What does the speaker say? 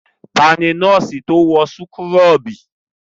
Ta ni nọ́ọ́sì to wọ súkúrọ́bù?